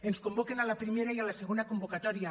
ens convoquen a la primera i a la segona convocatòria